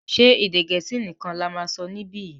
ṣe Èdè Gẹ̀ẹ́sì nìkàn là má sọ nibiyi?